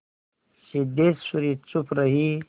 सिद्धेश्वरी चुप रही